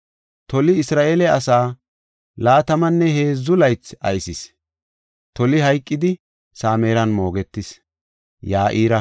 Toli Isra7eele asaa laatamanne heedzu laythi aysis. Toli hayqidi, Samiran moogetis.